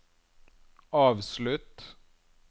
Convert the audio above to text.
avslutt